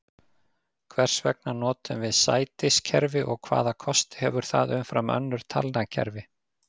Hvers vegna notum við sætiskerfi og hvaða kosti hefur það umfram önnur talnakerfi?